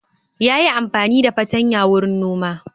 Ya yi amfani da fatanya wurin noma.